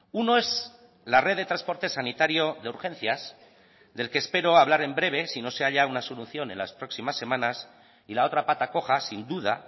uno es la red de transporte sanitario de urgencias del que espero hablar en breve sino se haya una solución en las próximas semanas y la otra pata coja sin duda